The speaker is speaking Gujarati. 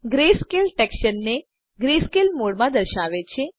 ગ્રેસ્કેલ ટેક્સચરને ગ્રેસ્કેલ મોડ માં દર્શાવે છે